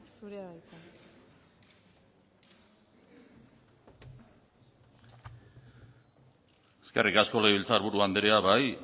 zurea da hitza eskerrik asko legebiltzar buru andrea bai